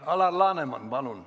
Alar Laneman, palun!